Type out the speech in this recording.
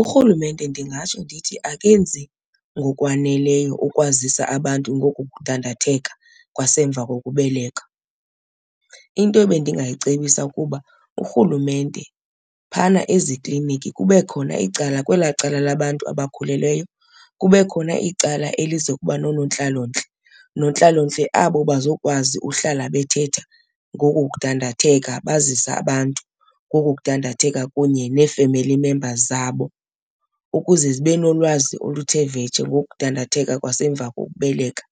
URhulumente ndingatsho ndithi akenzi ngokwaneleyo ukwazisa abantu ngoku kudandatheka kwasemva kokubeleka. Into ebendingayicebisa kuba uRhulumente phana ezikliniki kube khona icala, kwelaa cala labantu abakhulelweyo kube khona icala elizokuba noonontlalontle. Nontlalontle abo bazokwazi uhlala bethetha ngoko kudandatheka, bazise abantu ngoku kudandatheka kunye nee-family members zabo ukuze zibe nolwazi oluthe vetshe ngokudandatheka kwasemva kokubeleka.